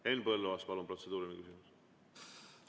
Henn Põlluaas, palun, protseduuriline küsimus!